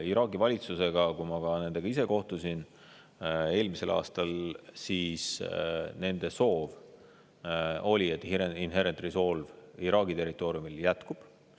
Iraagi valitsusega ma ise kohtusin eelmisel aastal ja nende soov oli, et Inherent Resolve Iraagi territooriumil jätkub.